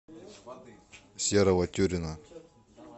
серого тюрина